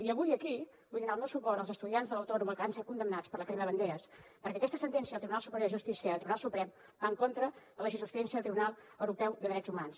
i avui aquí vull donar el meu suport als estudiants de l’autònoma que van ser condemnats per la crema de banderes perquè aquesta sentència del tribunal superior de justícia i del tribunal suprem va en contra de la jurisprudència del tribunal europeu de drets humans